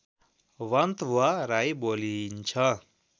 वान्तवा राई बोलिन्छ